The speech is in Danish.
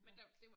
Ja